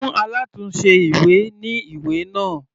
Fún alátùnse ìwé ní ìwé náà.